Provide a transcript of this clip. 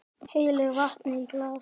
Hellir vatni í glas.